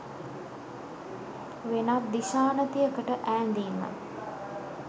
වෙනත් දිශානතියකට ඈඳීම